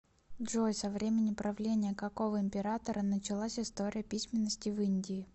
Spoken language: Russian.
джой со времени правления какого императора началась история письменности в индии